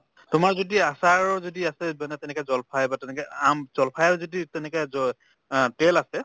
তোমাৰ যদি আচাৰো যদি আছে তেনেকা জল্ফাই বা তেনেকে আম জল্ফাইও যদি তেনেকে ক আহ তেল আছে